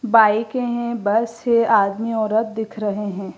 बाईके हैं बस है आदमी औरत दिख रहे हैं।